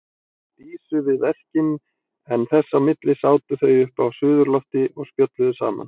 Dísu við verkin en þess á milli sátu þau uppi á suðurlofti og spjölluðu saman.